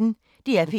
DR P1